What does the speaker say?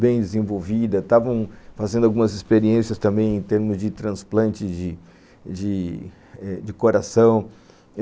bem desenvolvida, estavam fazendo algumas experiências também em termos de transplante de de eh coração.